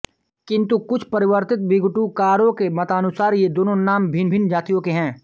किंतु कुछ परवर्ती निघुटुकारों के मतानुसार ये दोनों नाम भिन्नभिन्न जातियों के हैं